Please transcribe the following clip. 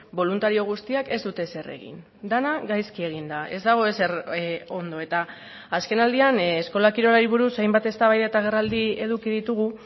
boluntario guztiak ez dute ezer egin dena gaizki egin da ez dago ezer ondo eta azken aldian eskola kirolari buruz hainbat eztabaida eta agerraldi eduki ditugu